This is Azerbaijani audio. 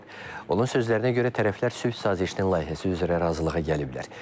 Onun sözlərinə görə tərəflər sülh sazişinin layihəsi üzrə razılığa gəliblər.